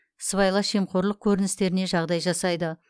сыбайлас жемқорлық көріністеріне жағдай жасайды